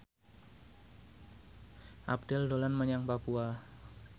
Abdel dolan menyang Papua